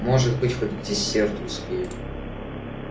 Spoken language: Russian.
может быть хоть к десерту успею